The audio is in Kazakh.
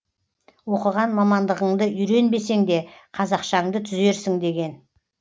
оқыған мамандығыңды үйренбесеңде қазақшаңды түзерсің деген